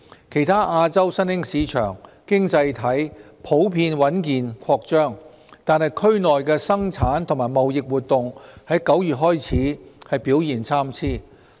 其他亞洲新興市場經濟體普遍穩健擴張，但區內的生產及貿易活動在9月開始表現參差。